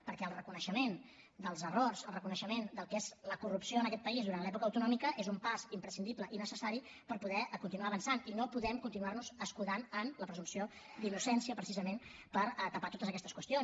perquè el reconeixement dels errors el reconeixement del que és la corrupció en aquest país durant l’època autonòmica és un pas imprescindible i necessari per poder continuar avançant i no podem continuar nos escudant en la presumpció d’innocència precisament per tapar totes aquestes qüestions